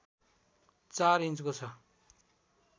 ४ इन्चको छ